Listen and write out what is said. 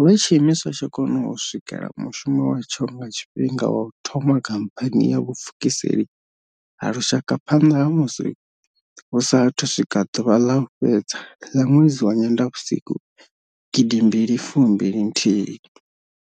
lwe tshiimiswa tsha kona u swikela mushumo watsho nga tshifhinga wa u thoma khamphani ya vhupfukiseli ha lushaka phanḓa ha musi hu sa athu swika ḓuvha ḽa u fhedza ḽa ṅwedzi wa Nyendavhusiku 2021.